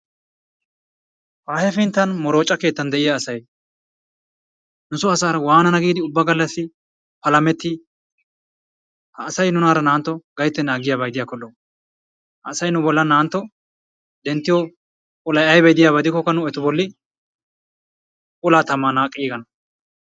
Ha hefinttan moroocca keettan de'iyaa asay nusoo asaara waanana giidi ubba gallaasi palamettii? ha asay nuunara na"antto gayttenan aggiyaaba gidikko lo"o. ha asay nu boollan denttiyoo olay aybay de'iyaaba gidikkoka nu etu bolli olaa taman naaqqiigana.